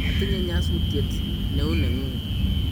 atinye nyasutiet neuu neng'ung'